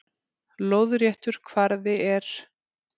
Lóðréttur kvarði er